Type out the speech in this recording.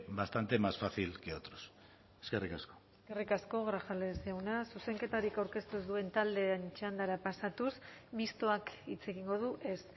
bastante más fácil que otros eskerrik asko eskerrik asko grajales jauna zuzenketarik aurkeztu ez duten taldeen txandara pasatuz mistoak hitz egingo du ez